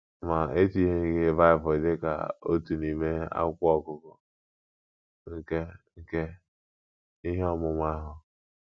Ma e tinyeghị Bible dị ka otu n’ime akwụkwọ ọgụgụ nke nke ihe ọmụmụ ahụ.